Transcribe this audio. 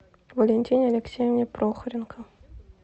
валентине алексеевне прохоренко